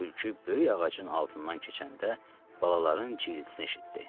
Tülkü böyük ağacın altından keçəndə balaların cıltısını eşitdi.